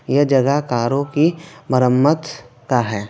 यह जगह कारों की मरमत का है।